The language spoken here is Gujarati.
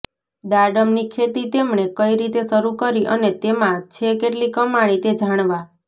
દાડમની ખેતી તેમણે કઈ રીતે શરૂ કરી અને તેમાં છે કેટલી કમાણી તે જાણવા